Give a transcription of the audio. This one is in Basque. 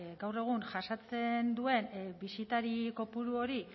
gaur egun jasaten duen bisitari kopuru hori